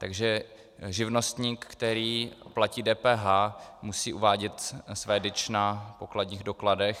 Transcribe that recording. Takže živnostník, který platí DPH, musí uvádět své DIČ na pokladních dokladech.